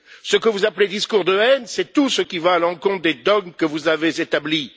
Ce que vous appelez discours de haine, c'est tout ce qui va à l'encontre des dogmes que vous avez établis.